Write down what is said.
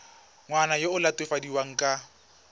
ngwana yo o latofadiwang ka